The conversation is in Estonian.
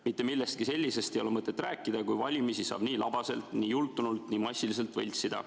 Mitte millestki sellisest ei ole mõtet rääkida, kui valimisi saab nii labaselt, nii jultunult, nii massiliselt võltsida.